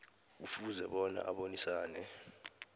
kufuze bona abonisane